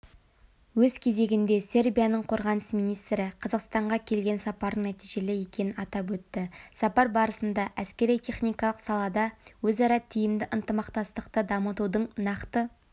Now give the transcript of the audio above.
өз кезегінде сербияның қорғаныс министрі қазақстанға келген сапарының нәтижелі екенін атап өтті сапар барысында әскери-техникалық салада өзара тиімді ынтымақтастықты дамытудың нақты